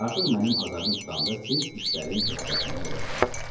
Artıq mənim azarım tutanda siz işlərin öhdəsindən gələ bilərsiz.